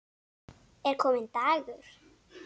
Er kominn dagur?